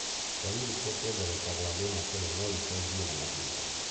Ndariri cia kuongerereka gwa thĩna ũyũ no icenjie na mahinda